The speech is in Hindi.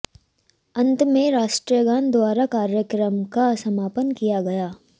अंत में राष्ट्रीय गान द्वारा कार्यक्रम का समापन किया गया